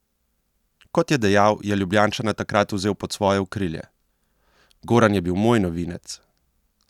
Kot je dejal, je Ljubljančana takrat vzel pod svoje okrilje: "Goran je bil moj novinec.